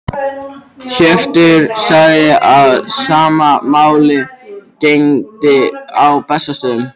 Hjörtur sagði að sama máli gegndi á Bessastöðum.